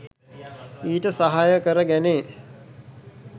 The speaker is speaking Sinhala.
ඊට සහාය කර ගැනේ.